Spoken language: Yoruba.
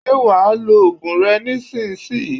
Ṣé wa lo ògùn rẹ nísinsìnyí